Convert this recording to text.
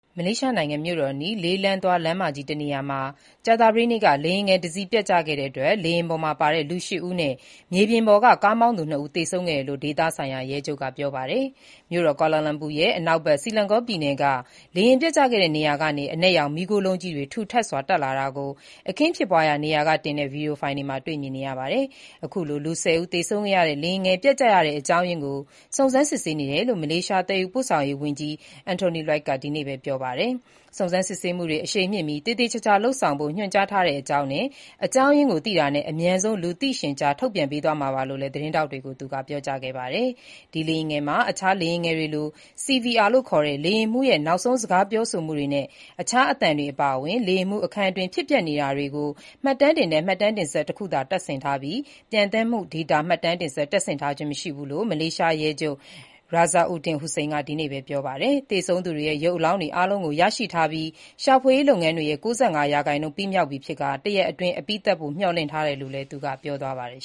မလေးရှားနိုင်ငံ မြို့တော်အနီး လေးလမ်းသွား အဝေးပြေးလမ်း တနေရာမှာ ကြာသပတေးနေ့က လေယာဉ်ငယ်တစီး ပျက်ကျခဲ့တဲ့အတွက် လေယာဉ်ပေါ်ပါ လူရှစ်ဦးနဲ့ မြေပြင်ပေါ်က မော်တော်ဆိုင်ကယ်မောင်းသူနှစ်ဦး သေဆုံးခဲ့တယ်လို့ ဒေသဆိုင်ရာ ရဲချုပ်က ပြောပါတယ်။ မြို့တော်ကွာလာလမ်ပူရဲ့ အနောက်ဘက် Selangor ပြည်နယ်အတွင်း လေယာဉ် ပျက်ကျခဲ့တဲ့ နေရာကနေ အမဲရောင် မီးခိုးလုံးကြီးတွေ ထူထပ်စွာ တက်လာတာကို အခင်းဖြစ်ပွားတဲ့နေရာက ရိုက်တင်တဲ့ ဗီဒီယိုဖိုင်တွေမှာ မြင်တွေ့ရပါတယ်။ အခုလို လူ ၁၀ ဦး သေဆုံးခဲ့ရတဲ့ လေယာဉ်ငယ်ပျက်ကျရတဲ့ အကြောင်းရင်းကို တာဝန်ရှိသူတွေက စုံစမ်းစစ်ဆေးနေတယ်လို့ မလေးရှား သယ်ယူပို့ဆောင်ရေးဝန်ကြီး Anthony Loke က ဒီနေ့ပဲ ပြောလိုက်ပါတယ်။ "စုံစမ်းစစ်ဆေးမှုတွေ အရှိန်မြှင့်ပြီး သေသေချာချာလုပ်ဆောင်ဖို့ ညွှန်ကြားထားကြောင်းနဲ့ အကြောင်းအရင်းကိုသိတာနဲ့ အမြန်ဆုံး လူသိရှင်ကြား ထုတ်ပြန်ပေးသွားမှာပါ" လို့လည်း သတင်းထောက်တွေကို သူက ပြောကြားခဲ့ပါတယ်။ ဒီလေယာဉ်ငယ်မှာ အခြား လေယာဉ်ငယ်တွေလို CVR လို့ခေါ်တဲ့ လေယာဉ်မှူးရဲ့ နောက်ဆုံးစကားပြောဆိုမှုတွေနဲ့ အခြားအသံတွေအပါအဝင်၊ လေယာဉ်မှူးခန်းအတွင်း ဖြစ်ပျက်နေတာတွေကို မှတ်တမ်းတင်တဲ့ မှတ်တမ်းတင်စက် တခုသာတပ်ဆင်ထားပြီး ပျံသန်းမှုဒေတာ မှတ်တမ်းတင်စက် (Black Box) တပ်ဆင်ထားခြင်း မရှိဘူးလို့ မလေးရှားရဲချုပ် Razarudin Husain က ဒီနေ့ပဲ ပြောပါတယ်။ သေဆုံးသူတွေရဲ့ ရုပ်အလောင်းတွေအားလုံးကို ရရှိထားပြီး၊ ရှာဖွေရေး လုပ်ငန်းတွေရဲ့ ၉၅ ရာခိုင်နှုန်း ပြီးစီးသွားပြီမို့ တရက်အတွင်း အပြီးသတ်ဖို့ မျှော်လင့်ထားတယ်လို့လည်း သူက ပြောပါတယ်